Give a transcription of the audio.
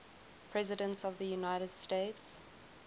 presidents of the united states